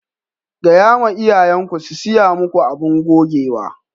Ga ya ma iyayen ku su siya maku masu gogewa.